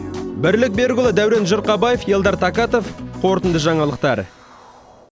бірлік берікұлы дәурен жырқабаев ельдар такатов қорытынды жаңалықтар